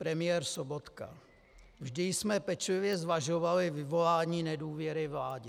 Premiér Sobotka: "Vždy jsme pečlivě zvažovali vyvolání nedůvěry vládě."